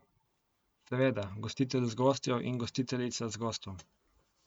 Seveda, gostitelj z gostjo in gostiteljica z gostom.